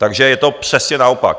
Takže je to přesně naopak.